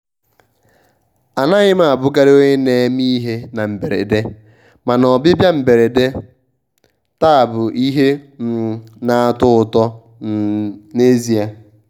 anaghị m abụkarị onye na-eme ihe na mberede mana ọbịbịa mberede taa bụ ihe um na-atọ ụtọ um n'ezie.